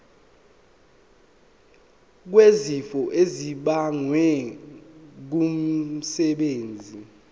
wesifo esibagwe ngumsebenzi